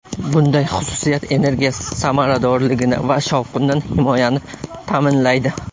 Bunday xususiyat energiya samaradorligini va shovqindan himoyani ta’minlaydi.